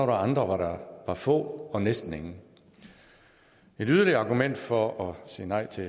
andre hvor der var få og næsten ingen et yderligere argument for at sige nej til